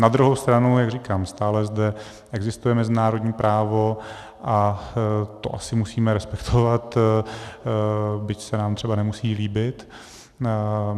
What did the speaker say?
Na druhou stranu, jak říkám, stále zde existuje mezinárodní právo a to asi musíme respektovat, byť se nám třeba nemusí líbit.